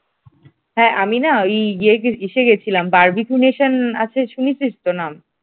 হ্যাঁ আমি না ওই ইয়েতে ইসে গিয়েছিলাম বারবিকিউশন আছে শুনেছিস তো না?